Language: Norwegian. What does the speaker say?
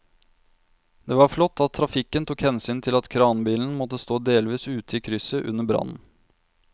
Det var flott at trafikken tok hensyn til at kranbilen måtte stå delvis ute i krysset under brannen.